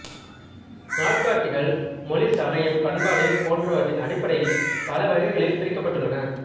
நாட்காட்டிகள் மொழி சமயம் பண்பாடு போன்றவற்றின் அடிப்படையில் பலவகைகளில் பிரிக்கப்பட்டுள்ளன